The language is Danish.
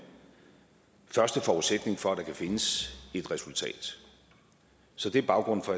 første forudsætning for at der kan findes et resultat så det er baggrunden for